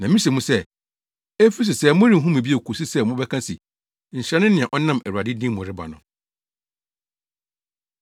Na mise mo sɛ, efi sesɛɛ morenhu me bio kosi sɛ mobɛka se, ‘Nhyira ne nea ɔnam Awurade din mu reba no.’ ”